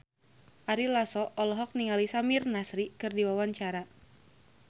Ari Lasso olohok ningali Samir Nasri keur diwawancara